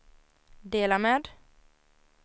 dela med